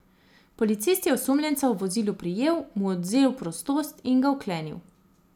Policist je osumljenca v vozilu prijel, mu odvzel prostost in ga vklenil.